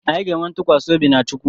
Anyị ga-enwe ntụkwasị obi na chukwu